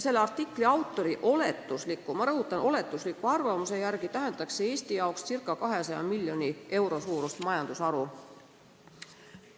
Selle artikli autori oletusliku – ma rõhutan, oletusliku – arvamuse järgi tähendaks see Eestile ca 200 miljoni euro suurust majandusharu.